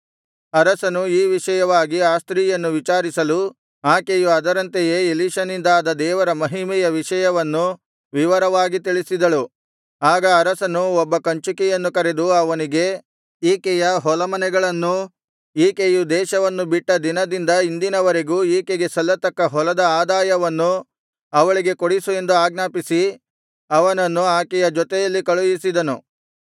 ಅರಸನು ಈ ವಿಷಯವಾಗಿ ಆ ಸ್ತ್ರೀಯನ್ನು ವಿಚಾರಿಸಲು ಆಕೆಯು ಅದರಂತೆಯೇ ಎಲೀಷನಿಂದಾದ ದೇವರ ಮಹಿಮೆಯ ವಿಷಯವನ್ನು ವಿವರವಾಗಿ ತಿಳಿಸಿದಳು ಆಗ ಅರಸನು ಒಬ್ಬ ಕಂಚುಕಿಯನ್ನು ಕರೆದು ಅವನಿಗೆ ಈಕೆಯ ಹೊಲಮನೆಗಳನ್ನೂ ಈಕೆಯು ದೇಶವನ್ನು ಬಿಟ್ಟ ದಿನದಿಂದ ಇಂದಿನವರೆಗೂ ಈಕೆಗೆ ಸಲ್ಲತಕ್ಕ ಹೊಲದ ಆದಾಯವನ್ನೂ ಅವಳಿಗೆ ಕೊಡಿಸು ಎಂದು ಆಜ್ಞಾಪಿಸಿ ಅವನನ್ನು ಆಕೆಯ ಜೊತೆಯಲ್ಲಿ ಕಳುಹಿಸಿದನು